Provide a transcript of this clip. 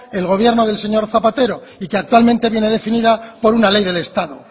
el gobierno del señor zapatero y que actualmente viene definida por una ley del estado